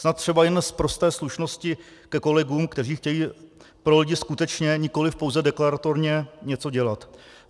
Snad třeba jen z prosté slušnosti ke kolegům, kteří chtějí pro lidi skutečně, nikoliv pouze deklaratorně, něco dělat.